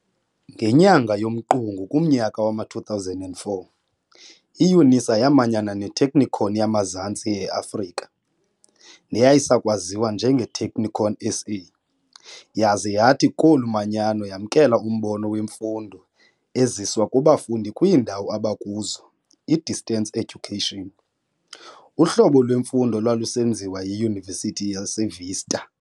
Ngenyanga yomqungu kumnyaka wama-2004, iYunisa yaamanyana neTechnikon yamaZantsi e-Afrika neyayisayakwaziwa njengeTechnikon SA, yaza yathi kolu manyano yamkela umbono wemfundo ezizwa kubafundi kwiindawo abakuzo i-distance education, uhlobo lwemfundo olwalusenziwa yiYunivesithi yaseVista.